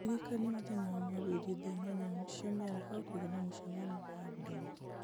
ndirikania mũthenya wa mwambĩrĩrio thaa inyanya cia mĩaraho kũgĩa na mũcemanio na ndũng'ũ